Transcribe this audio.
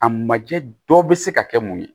A majɛ dɔ bɛ se ka kɛ mun ye